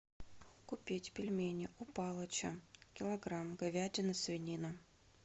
купить пельмени у палыча килограмм говядина свинина